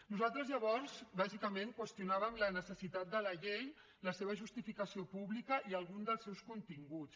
nosaltres llavors bàsicament qüestionàvem la necessitat de la llei la seva justificació pública i algun dels seus continguts